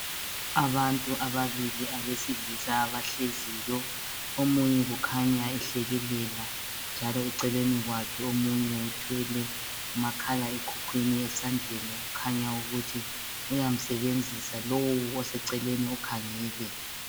Abantu ababili abesilisa abahleziyo omunye ukhanya ehlekelela njalo eceleni kwakhe omunye uthwele umakhala ekhukhwini esandleni kukhanya ukuthi uyamsebenzisa lowu oseceleni ukhangele.